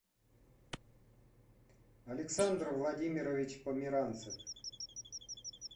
александр владимирович померанцев